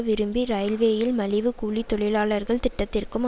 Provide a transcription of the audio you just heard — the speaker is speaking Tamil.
விரும்பி இரயில்வேயில் மலிவு கூலி தொழிலாளர்கள் திட்டத்திற்கும்